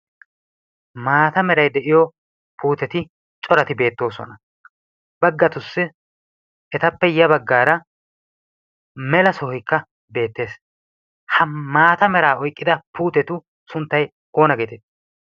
maata meray de'iyo puuteti corati beettoosona baggatussi etappe ya baggaara mela sohoyikka beettees ha maata meraa oyqqida puutetu sunttay oona geetee